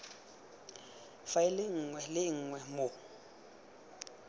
faele nngwe le nngwe mo